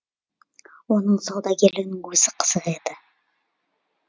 оның саудагерлігінің өзі қызық еді